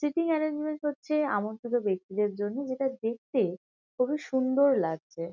Sitting arrangement হচ্ছে এমন কোনো ব্যক্তিদের জন্য যেটা দেখতে খুবই সুন্দর লাগছে ।